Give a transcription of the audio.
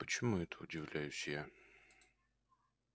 почему это удивляюсь я